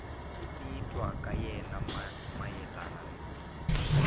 ku titwa ka yena mayelana